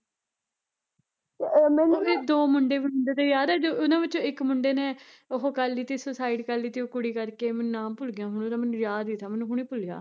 ਉਹਦੇ ਦੋ ਮੁੰਡੇ ਮੁੰਡੇ ਤੇ ਯਾਰ ਉਹਨਾਂ ਵਿੱਚੋਂ ਇੱਕ ਮੁੰਡੇ ਨੇ ਉਹ ਕਰਲੀ ਤੀ ਸੁਸਏਡ ਕਰਲੀ ਤੀ ਓਹ ਕੁੜੀ ਕਰਕੇ, ਮੈਨੂੰ ਨਾਮ ਭੁੱਲ ਗਿਆ ਹੁਣ ਉਹਦਾ ਯਾਦ ਸੀਗਾ ਮੈਨੂੰ ਹੁਣੇ ਭੁੱਲਿਆ